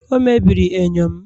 o mebiri enyo m